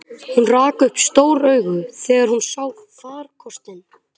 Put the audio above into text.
Hún rak upp stór augu þegar hún sá farkostinn.